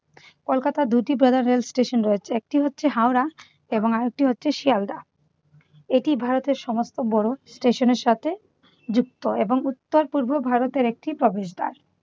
কলকাতায় দুটি বড় রেলস্টেশন রয়েছে। একটি হচ্ছে হাওড়া এবং আরেকটি হচ্ছে শেয়ালদাহ। এটি ভারতের সমস্ত বড় স্টেশনের সাথে যুক্ত এবং উত্তর-পূর্ব ভারতের একটি প্রবেশদ্বার।